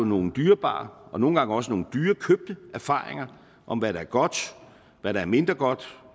nogle dyrebare og nogle gange også nogle dyrt købte erfaringer om hvad der er godt hvad der er mindre godt